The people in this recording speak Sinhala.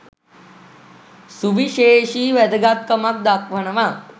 සුවිශේෂී වැදගත් කමක් දක්වනවා.